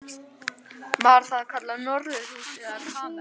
Var það kallað norðurhús eða kamers